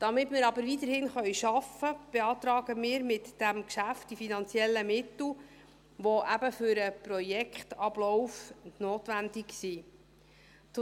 Damit wir aber weiterhin arbeiten können, beantragen wir mit diesem Geschäft die finanziellen Mittel, die eben für den Projektablauf notwendig sind.